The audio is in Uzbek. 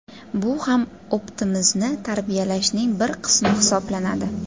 Bu ham optimizmni tarbiyalashning bir qismi hisoblanadi.